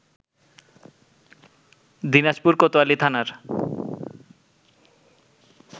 দিনাজপুর কোতোয়ালি থানার